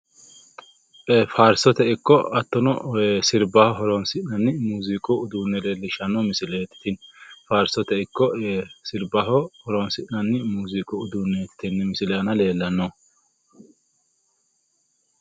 faarsote ikko hattono sirbbaho horonsi'nanni muuziiqu uduunne leellishshanno misileeti tini faarsote ikko sirbbaho horonsi'nanni muuziiqu uduunneeti tenne misile aana leellannohu.